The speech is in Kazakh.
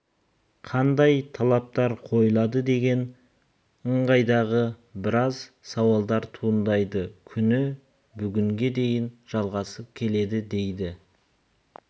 қандай талаптар қойылады деген ыңғайдағы біраз сауалдар туындайды күні бүгінге дейін жалғасып келеді дейді